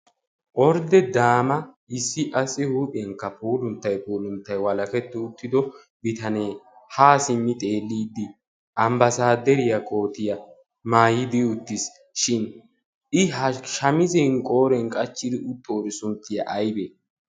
ordde daama issi qassi huuphiyaan pulunttaykka walahetti uttido bitanne ha simmi xeelide ambbasaderiyaa koottiya maayi uttisishin. I ha shaamissiyaa qooriyaan qachidoori sunttiya aybbe?